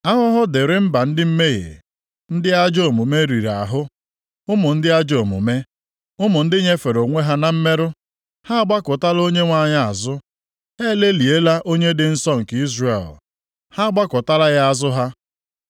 Ahụhụ dịrị mba ndị mmehie, ndị ajọ omume riri ahụ, ụmụ ndị ajọ omume, ụmụ ndị nyefere onwe ha na mmerụ! Ha agbakụtala Onyenwe anyị azụ, ha elelịala Onye dị Nsọ nke Izrel, ha agbakụtala ya azụ ha.